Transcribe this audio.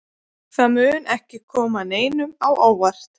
Það mun ekki koma neinum á óvart.